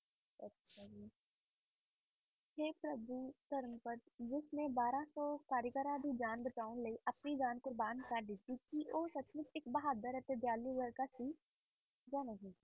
ਤੇ ਧਰਮਪਦ ਜਿਸਨੇ ਬਾਰਾਂ ਸੌ ਕਾਰੀਗਰਾਂ ਦੀ ਜਾਨ ਬਚਾਉਣ ਲਈ ਆਪਣੀ ਜਾਨ ਕੁਰਬਾਨ ਕਰ ਦਿੱਤੀ ਸੀ ਉਹ ਸੱਚਮੁੱਚ ਇੱਕ ਬਹਾਦੁਰ ਅਤੇ ਦਇਆਲੂ ਲੜਕਾ ਸੀ ਜਾਂ ਨਹੀਂ?